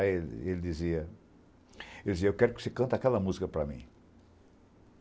Aí ele dizia... Ele dizia, eu quero que você cante aquela música para mim.